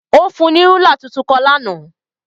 Ó fún un ní rúla tuntun kan lánàá.